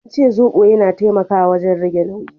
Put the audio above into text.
An ce zobo yana taimakawa wajen rage nauyi.